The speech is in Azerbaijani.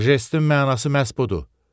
Jestin mənası məhz budur.